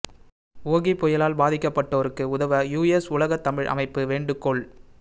ஓகி புயலால் பாதிக்கப்பட்டோருக்கு உதவ யுஎஸ் உலகத் தமிழ் அமைப்பு வேண்டுகோள்